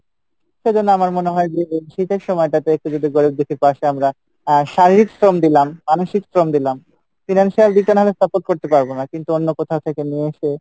সেজন্য আমার মনে হয় যে শীতের সময়টাতে একটু যদি গরিব দুঃখীর পাশে আমরা আহ শারীরিক শ্রম দিলাম মানসিক শ্রম দিলাম financial দিকে না হয়তো support করতে পারবো না কিন্তু অন্য কোথাও থেকে নিয়ে এসে